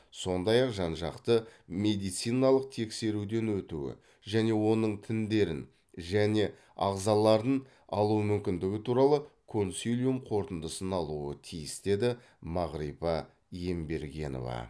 сондай ақ жан жақты медициналық тексеруден өтуі және оның тіндерін және ағзаларын алу мүмкіндігі туралы консилиум қорытындысын алуы тиіс деді мағрипа ембергенова